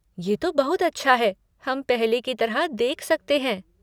ये तो बहुत अच्छा है हम पहले की तरह देख सकते हैं।